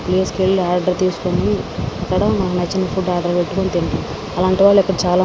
ఆ ప్లేస్ కి వెళ్ళి ఆర్డర్ తీసుకుని అక్కడ నచ్చిన ఫుడ్ ఆర్డర్ పెట్టుకుని తింటాం. అలాంటివాళ్ళు ఇప్పుడు చాలా --